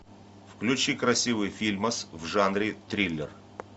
включи красивый фильмас в жанре триллер